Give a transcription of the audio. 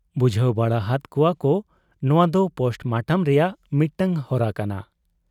ᱵᱩᱡᱷᱟᱹᱣ ᱵᱟᱲᱟ ᱦᱟᱫ ᱠᱚᱣᱟᱠᱚ ᱱᱚᱶᱟ ᱫᱚ ᱯᱳᱥᱴ ᱢᱚᱴᱚᱢ ᱨᱮᱭᱟᱜ ᱢᱤᱫᱴᱟᱝ ᱦᱚᱨᱟ ᱠᱟᱱᱟ ᱾